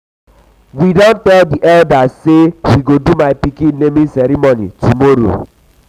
we don tell di eldas sey we go do my pikin naming ceremony tomorrow.